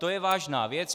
To je vážná věc.